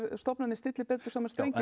stofnanir stilli betur saman strengi